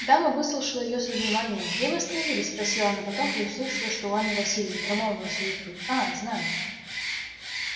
дама выслушала её со вниманием где вы остановились спросила она потом и услыша что у анны власьевны примолвила с улыбкою а знаю